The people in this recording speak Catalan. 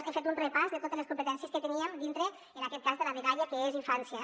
he fet un repàs de totes les competències que teníem dintre en aquest cas de la dgaia que és infància